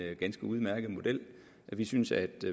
en ganske udmærket model vi synes at